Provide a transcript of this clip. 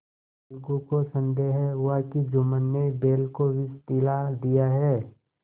अलगू को संदेह हुआ कि जुम्मन ने बैल को विष दिला दिया है